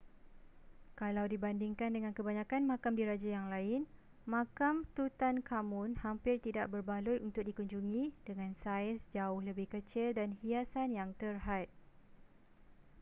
kalau dibandingkan dengan kebanyakan makam diraja yang lain makam tutankhamun hampir tidak berbaloi untuk dikunjungi dengan saiz jauh lebih kecil dan hiasan yang terhad